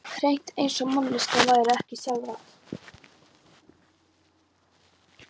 Hreint eins og manneskjunni væri ekki sjálfrátt.